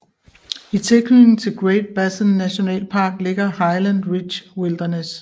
I tilknytning til Great Basin nationalpark ligger Highland Ridge Wilderness